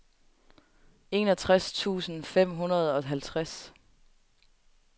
enogtres tusind fem hundrede og halvtreds